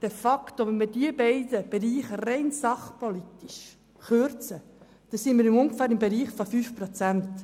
Wenn wir diese beiden Bereiche aus rein sachpolitischen Gründen kürzen, sind wir ungefähr im Bereich von 5 Prozent.